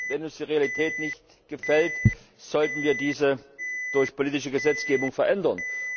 Wenn uns die Realität nicht gefällt, sollten wir diese durch politische Gesetzgebung verändern.